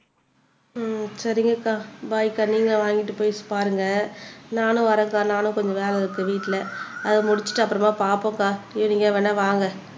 சரிங்க அக்கா பாய் அக்கா நீங்க வாங்கிட்டு போய் பாருங்க நானும் வரேன் அக்கா நானும் கொஞ்சம் வேலை இருக்கு வீட்ல அதை முடிச்சுட்டு அப்புறமா பாப்போம் அக்கா ஈவினிங்கா வேணா வாங்க